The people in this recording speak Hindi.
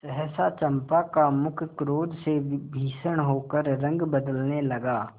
सहसा चंपा का मुख क्रोध से भीषण होकर रंग बदलने लगा